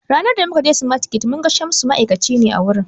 Ranan da mu kaje smartkids mun ga Shamsu, ma'aikaci ne a wurin